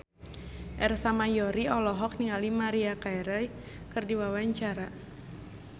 Ersa Mayori olohok ningali Maria Carey keur diwawancara